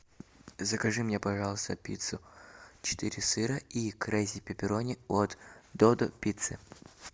закажи мне пожалуйста пиццу четыре сыра и крейзи пепперони от додо пицца